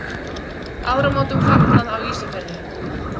Áramótum fagnað á Ísafirði.